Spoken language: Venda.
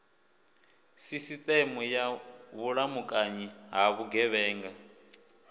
sisiteme ya vhulamukanyi ha vhugevhenga